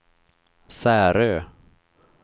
Särö